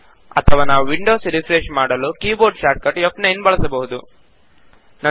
ಅಥವಾ ನಾವು window refresh ಮಾಡಲು ಕೀಬೋರ್ಡ್ ಶಾರ್ಟ್ಕಟ್ ಫ್9 ಬಳಸಬಹುದು